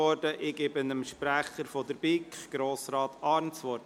Ich gebe dem Sprecher der BiK, Grossrat Arn das Wort.